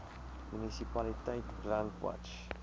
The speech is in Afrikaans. munisipaliteit brandwatch